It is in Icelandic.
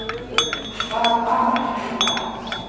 Hvað amar eiginlega að?